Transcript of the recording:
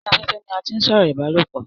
orí afẹ́fẹ́ ni a tí ń sọ̀rọ̀ ìbálòpọ̀